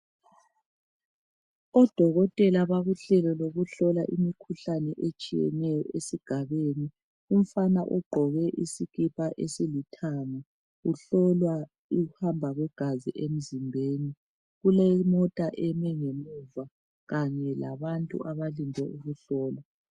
Odokotela bakuhlelo lokuhlola imikhuhlan etshiyeneyo, esigabeni. Umfana ugqoke isikipa esilithanga. Uhlolwa ukuhamba kwegazi emzimbeni. Kulemota eme ngemuva, kanye labantu abalinde ukuhlolwa.